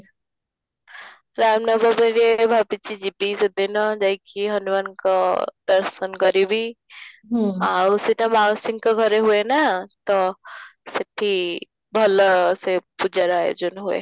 ରାମ ନବମୀରେ ଭାବୁଛି ଯିବି ସେଦିନ ଯାଇକି ହନୁମାନଙ୍କ ଦର୍ଶନ କରିବି ଆଉ ସେଇଟା ମାଉସୀଙ୍କ ଘରେ ହୁଏ ନା ତ ସେଠି ଭଲ ସେ ପୂଜାର ଆୟୋଜନ ହୁଏ